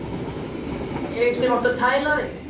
Ég sem á að tæla þig.